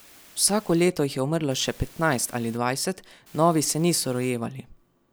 Vsako leto jih je umrlo še petnajst ali dvajset, novi se niso rojevali.